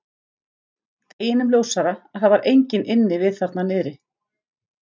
Deginum ljósara að það var enginn inni við þarna niðri.